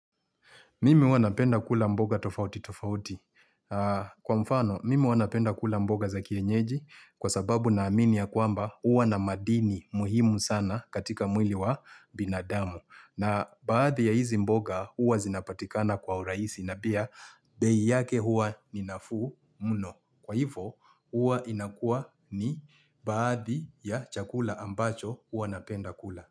Mimi huwa napenda kula mboga tofauti tofauti. Kwa mfano, mimi huwa napenda kula mboga za kienyeji kwa sababu na amini ya kwamba huwa na madini muhimu sana katika mwili wa binadamu. Na baadhi ya hizi mboga huwa zinapatikana kwa urahisi na pia bei yake huwa ni nafuu mno. Kwa hivyo, huwa inakuwa ni baadhi ya chakula ambacho huwa napenda kula.